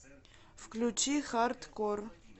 включи хардкор